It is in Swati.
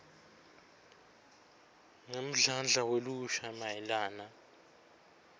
ngemdlandla welusha mayelana